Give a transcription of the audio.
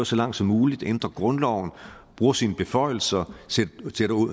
så langt som muligt at ændre grundloven at bruge sine beføjelser til